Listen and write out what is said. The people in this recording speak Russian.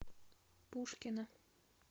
пушкино